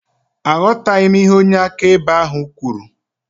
Aghọtaghị m ihe onye akaebe ahụ kwuru